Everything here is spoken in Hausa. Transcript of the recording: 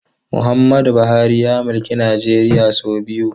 Muhammadu Buhari ya mulki Najeriya sau biyu.